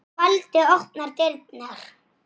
Miklu frekar fyrir Ársæl.